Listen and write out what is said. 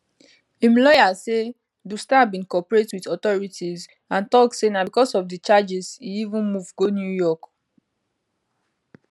im lawyer say du star bin cooperate wit authorities and tok say na becos of di charges e even move go new york